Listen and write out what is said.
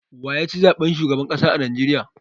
Wa ya ci zaɓen shugaban ƙasa a Najeriya?